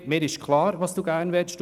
Mir ist klar, was Sie möchten.